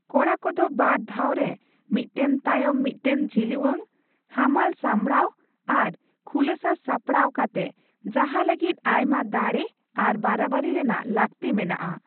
ᱠᱚᱲᱟ ᱠᱚᱫᱚ ᱵᱟᱨ ᱫᱷᱟᱣᱨᱮ ᱢᱤᱫᱴᱟᱝ ᱛᱟᱭᱚᱢ ᱢᱤᱫᱴᱟᱝ ᱡᱷᱤᱞᱣᱟᱝ, ᱦᱟᱢᱟᱞ ᱥᱟᱢᱵᱽᱲᱟᱣ, ᱟᱨ ᱠᱷᱩᱞᱟᱹᱥᱟ ᱥᱟᱯᱲᱟᱣ ᱠᱟᱛᱮ ᱡᱟᱦᱟ ᱞᱟᱹᱜᱤᱫ ᱟᱭᱢᱟ ᱫᱟᱲᱮ ᱟᱨ ᱵᱟᱨᱟᱵᱟᱨᱤ ᱨᱮᱱᱟᱜ ᱞᱟᱠᱛᱤ ᱢᱮᱱᱟᱜᱼᱟ ᱾